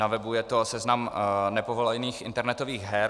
Na webu je to seznam nepovolených internetových her.